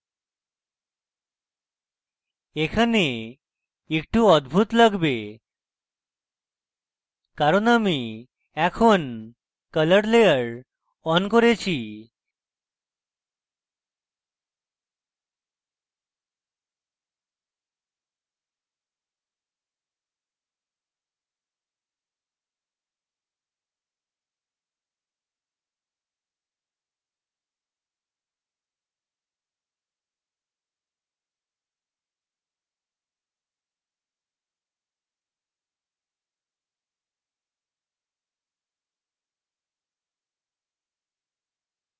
এখানে একটু অদ্ভুত লাগবে কারণ আমি এখন colour layer on করেছি